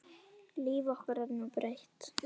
Líf okkar er nú breytt